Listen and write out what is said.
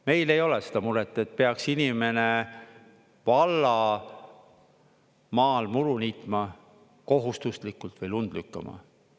Meil ei ole seda muret, et peaks inimene valla maal muru niitma, kohustuslikult, või lund lükkama.